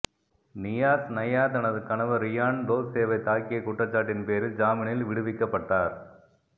Niyas Naya தனது கணவர் Ryan டோர்சேவைத் தாக்கிய குற்றச்சாட்டின் பேரில் ஜாமீனில் விடுவிக்கப்பட்டார்